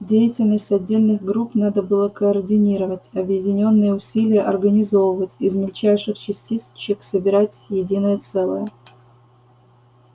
деятельность отдельных групп надо было координировать объединённые усилия организовывать из мельчайших частичек собирать единое целое